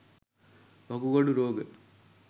වකුගඩු රෝග